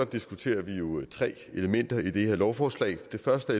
diskuterer vi jo tre elementer i det her lovforslag det første